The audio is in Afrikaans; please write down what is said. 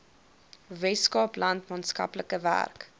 weskaapland maatskaplike werk